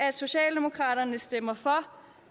at socialdemokraterne stemmer for